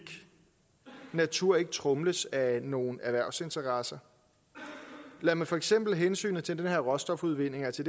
natur ikke tromles af nogle erhvervsinteresser lader man for eksempel hensynet til den her råstofudvinding altså